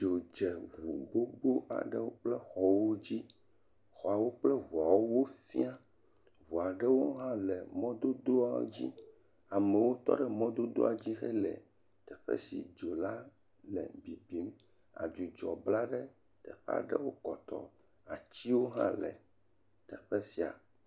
Dzo dze ŋu gbogbo aɖewo kple xɔwo dzi, xɔawo kple ŋuawo fia, ŋua ɖewo hã le mɔdodoa dzi, amewo tɔ ɖe mɔdodoa dzi hele teƒe si dzo la le bibim, dzudzɔ bla ɖe teƒe aɖewo kɔtɔɔ. Atiwo hã le teƒe sia.